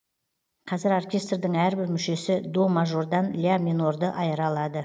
қазір оркестрдің әрбір мүшесі до мажордан ля минорды айыра алады